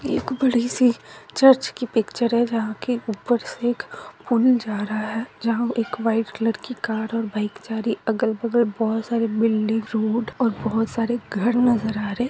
एक बड़ी सी चर्च की पिक्चर है जहा के ऊपर से एक पुल जा रहा है जहां एक वाइट कलर की कार और बाइक जा रही है अगल-बगल बहुत सारी बिल्डिंग रोड और बहुत सारे घर नजर आ रहे हैं।